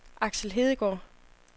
Aksel Hedegaard